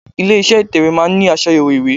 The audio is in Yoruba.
Ilé iṣẹ́ ìtẹ̀wẹ́ máa ń ní aṣàyẹ̀wò ìwé.